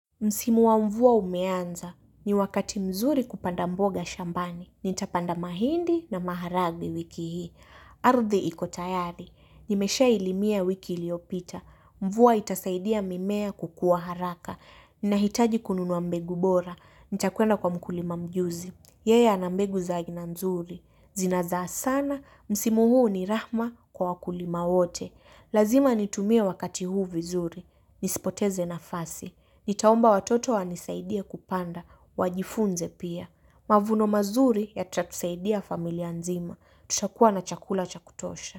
Msimu wa mvua umeanza. Ni wakati mzuri kupanda mboga shambani. Nitapanda mahindi na maharagwe wiki hii. Ardhi iko tayari. Nimeshailimia wiki iliyopita. Mvua itasaidia mimea kukuwa haraka. Ninahitaji kununua mbegu bora. Nitakwenda kwa mkulima mjuzi. Yeya ana mbegu za aina mzuri. Zinazaa sana. Msimu huu ni rahma kwa wakulima wote. Lazima nitumie wakati huu vizuri. Nisipoteze nafasi. Nitaomba watoto wanisaidia kupanda. Wajifunze pia. Mavuno mazuri yatatusaidia familia nzima. Tutakuwa na chakula cha kutosha.